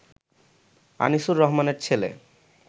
আনিসুর রহমানের ছেলে